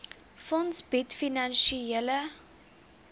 fonds bied finansiële